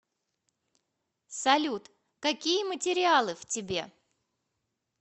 салют какие материалы в тебе